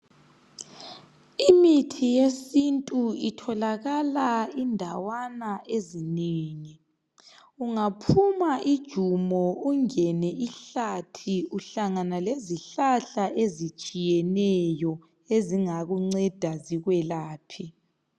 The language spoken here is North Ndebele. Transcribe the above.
Imithi yesintu itholakala indawana ezinengi. Ungaphuma ijumo ungene ihlathi uhlangana lezihlahla ezitshiyeneyo, ezingakunceda zikwelaphe.